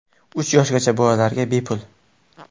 Uch yoshgacha bolalarga bepul.